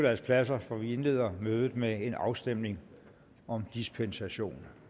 deres pladser for vi indleder mødet med en afstemning om dispensation